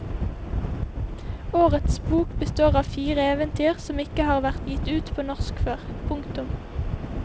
Årets bok består av fire eventyr som ikke har vært gitt ut på norsk før. punktum